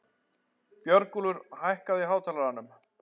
Björgúlfur, hækkaðu í hátalaranum.